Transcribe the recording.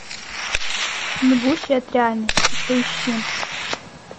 бегущий от реальности поищи